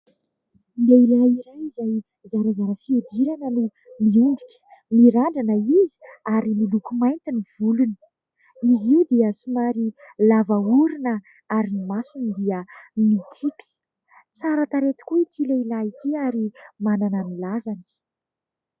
Lehilahy iray izay zarazara fihodirana no miondrika mirandrana izy ary miloko mainty ny volony, izy io dia somary lava orona ary ny masony dia mikimpy, tsara tarehy tokoa ity lehilahy ity ary manana ny lazany.